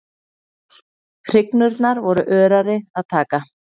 Hrygnurnar voru örari að taka.